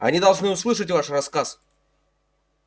они должны услышать ваш рассказ